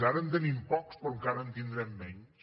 ara en tenim pocs però encara en tindrem menys